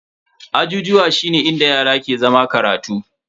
Ajijuwa shine inda yara ke zama karatu.